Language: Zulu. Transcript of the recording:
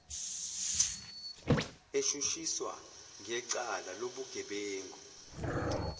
eshushiswa ngecala lobugebengu